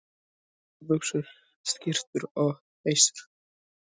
Gallabuxur, skyrtur og peysur.